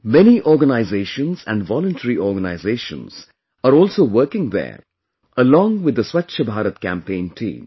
Many organizations and voluntary organizations are also working there along with the Swachh Bharat campaign team